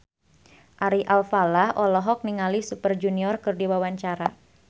Ari Alfalah olohok ningali Super Junior keur diwawancara